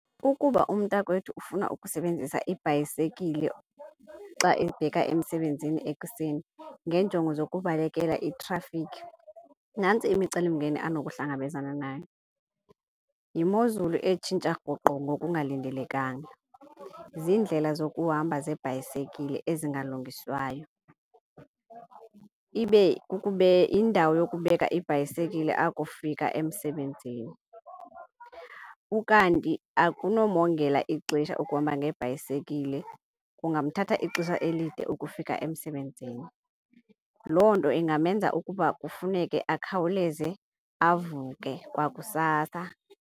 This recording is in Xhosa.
Ukuba umntakwethu ufuna ukusebenzisa ibhayisekile xa ebheka emsebenzini ekuseni ngeenjongo zokubekela itrafikhi, nantsi imicelimngeni anokuhlangabezana nayo. Yimozulu etshintsha rhoqo ngokungalindelekanga, ziindlela zokuhamba zebhayisekile ezingalungiswayo, ibe kukube yindawo yokubeka ibhayisekile akufika emsebenzini. Ukanti akunomongela ixesha ukuhamba ngebhayisekile, kungamthatha ixesha elide ukufika emsebenzini. Loo nto ingamenza ukuba kufuneke akhawuleze avuke kwakusasa.